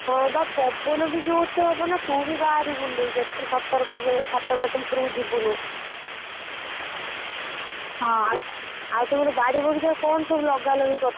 ହଁ ବା ପବନ ବି ଜୋର ସେ ହବ ନାଁ ତୁ ବି ବହାରିବୁନି ଦେଇ ଯେତେ ସତର୍କ ରହିବୁ ଛାତ ଫାଟ ଉପରକୁ ଯିବୁନୁ ଆଉ ତମର ବାଡି ବଗିଚା ରେ କଣ ସବୁ ଲଗାଲଗି କରିଥିଲ?